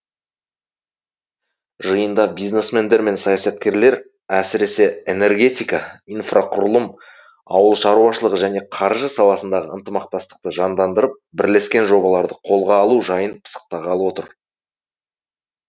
жиында бизнесмендер мен саясаткерлер әсіресе энергетика инфрақұрылым ауыл шаруашылығы және қаржы саласындағы ынтымақтастықты жандандырып бірлескен жобаларды қолға алу жайын пысықтағалы отыр